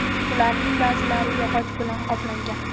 Ularning ba’zilari yog‘och bilan qoplangan.